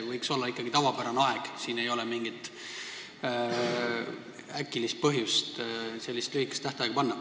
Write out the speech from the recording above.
Võiks olla ikkagi tavapärane aeg, ei ole mingit põhjust sellist lühikest tähtaega panna.